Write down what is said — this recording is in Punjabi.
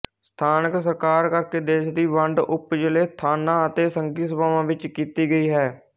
ਸਥਾਨਕ ਸਰਕਾਰ ਕਰਕੇ ਦੇਸ਼ ਦੀ ਵੰਡ ਉੱਪਜ਼ਿਲ੍ਹੇ ਥਾਨਾ ਅਤੇ ਸੰਘੀ ਸਭਾਵਾਂ ਵਿੱਚ ਕੀਤੀ ਗਈ ਹੈ